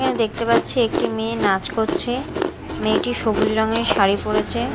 এখানে দেখতে পাচ্ছি একটি মেয়ে নাচ করছে মেয়েটি সবুজ রঙের শাড়ি পরেছে।